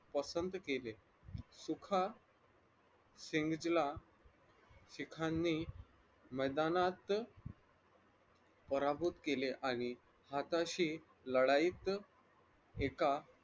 पसंत केले सुखा सिंघला शिखांनी मैदानात पराभूत केले आणि हाताशी लढाईत एका